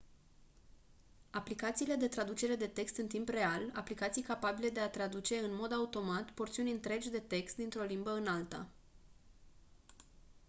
aplicațiile de traducere de text în timp real aplicații capabile de a traduce în mod automat porțiuni întregi de text dintr-o limbă în alta